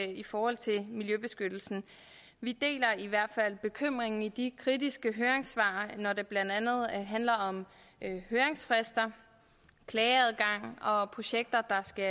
i forhold til miljøbeskyttelsen vi deler i hvert fald bekymringen i de kritiske høringssvar når det blandt andet handler om høringsfrister klageadgang og projekter der skal